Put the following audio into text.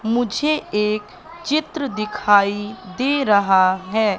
मुझे एक चित्र दिखाई दे रहा है।